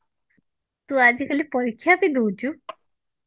ତୁ ଆଜି କାଲି ପରୀକ୍ଷା ବି ଦଉଛୁ